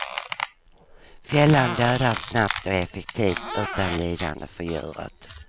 Fällan dödar snabbt och effektivt utan lidande för djuret.